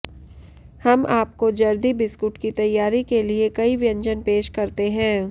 हम आपको जर्दी बिस्कुट की तैयारी के लिए कई व्यंजन पेश करते हैं